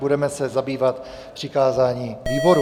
Budeme se zabývat přikázáním výborům.